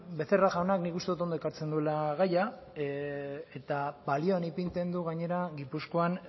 becerra jaunak nik uste dut ondo ekartzen duela gaia eta balioan ipintzen du gainera gipuzkoan